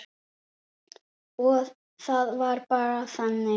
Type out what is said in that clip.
Og það var bara þannig.